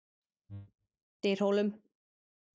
Dyrhólum